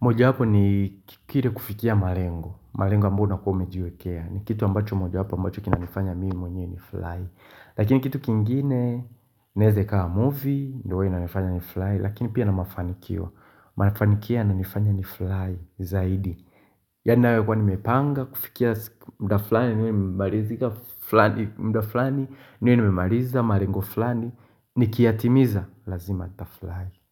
mojawapo ni kile kufikia malengo. Malengo ambayo unakua umejiwekea. Ni kitu ambacho mojawapo ambacho kinanifanya mimi mwenyewe ni fly. Lakini kitu kingine inaeza ikawa movie. Ndiyo huwa inanifanya ni fly. Lakini pia na mafanikio. Mafanikio yananifanya ni fly zaidi. Yaani nayo nakua nimepanga kufikia muda fulani. Niwe nimemaliza malengo flani. Nikiyatimiza lazima nita fly.